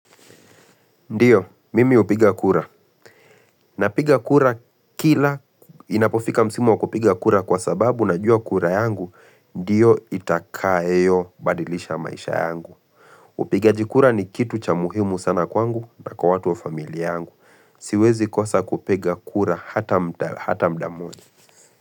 Ndiyo, mimi upiga kura. Na piga kura kila inapofika msimu wa kupiga kura kwa sababu na ua kura yangu, ndiyo itakaayo badilisha maisha yangu. Upigajikura ni kitu cha muhimu sana kwangu na kwa watu wa familia yangu. Siwezi kosa kupiga kura hata mudammoja.